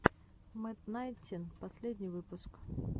мэт найнтин последний выпуск